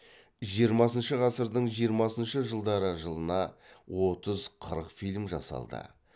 жиырмасыншы ғасырдың жиырмасыншы жылдары жылына отыз қырық фильм жасалды